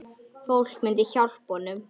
Fólk myndi hjálpa honum.